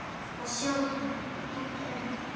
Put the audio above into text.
að sjá hann, ekki enn.